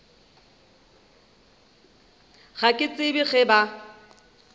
ga ke tsebe ge ba